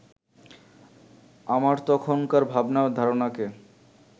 আমার তখনকার ভাবনা-ধারণাকে